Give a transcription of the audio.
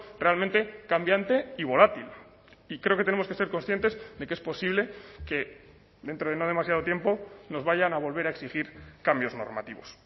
realmente cambiante y volátil y creo que tenemos que ser conscientes de que es posible que dentro de no demasiado tiempo nos vayan a volver a exigir cambios normativos